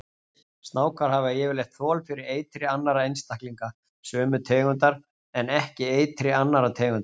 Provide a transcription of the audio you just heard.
Snákar hafa yfirleitt þol fyrir eitri annarra einstaklinga sömu tegundar en ekki eitri annarra tegunda.